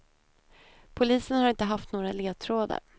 Polisen har inte haft några ledtrådar.